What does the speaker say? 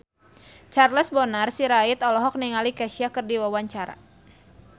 Charles Bonar Sirait olohok ningali Kesha keur diwawancara